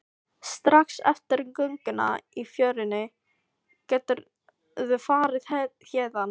Strax eftir gönguna í fjörunni geturðu farið héðan.